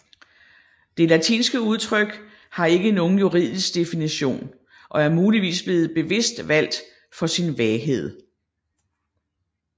Det latinske udtryk har ikke nogen juridisk definition og er muligvis blevet bevidst valgt for sin vaghed